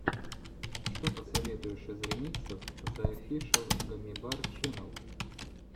что посоветуешь из ремиксов зе офишэл гаммибар ченнел